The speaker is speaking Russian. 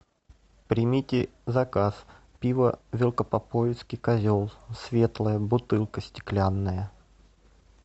примите заказ пиво велкопоповецкий козел светлое бутылка стеклянная